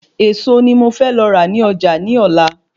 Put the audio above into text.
Ẹ̀ẹ̀so ni mo fẹ́ lọ rà ni Ọjà ní Ọ̀la